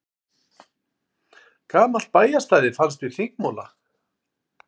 Gamalt bæjarstæði finnst við Þingmúla